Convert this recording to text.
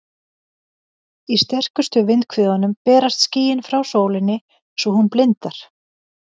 Í sterkustu vindhviðunum berast skýin frá sólinni svo hún blindar.